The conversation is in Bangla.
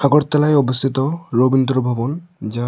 আগরতলায় অবস্থিত রবীন্দ্র ভবন যা--